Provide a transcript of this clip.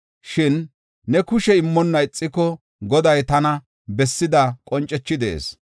Shin ne kushe immonna ixiko, Goday tana bessida qoncethi de7ees.